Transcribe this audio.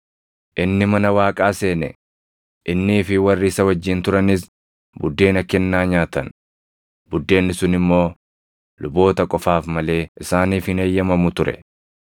Inni mana Waaqaa seene; innii fi warri isa wajjin turanis buddeena kennaa nyaatan; buddeenni sun immoo luboota qofaaf malee isaaniif hin eeyyamamu ture.